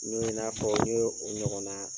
Mun n y'a fɔ n ye o ɲɔgɔn na ye.